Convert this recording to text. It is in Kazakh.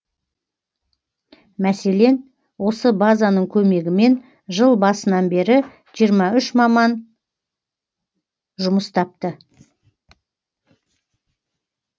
мәселен осы базаның көмегімен жыл басынан бері жиырма үш маман жұмыс тапты